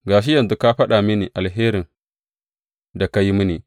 Ga shi yanzu ka faɗa mini alherin da ka yi mini.